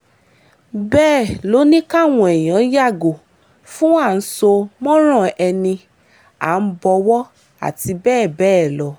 bẹ́ẹ̀ ló ní káwọn èèyàn yàgò fún à ń sọ mọ́rán ẹni à ń bọ̀wọ̀ àti bẹ́ẹ̀ bẹ́ẹ̀ lọ